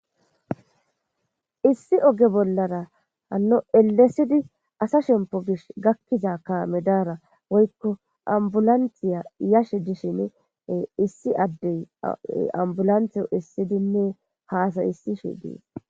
issi oge bollara hanno elesidi asa shempo gish gakkiza ka medaara woykko ambulantiya yashe dishin issi addey ambulantiyo issidinne haasay issishe dies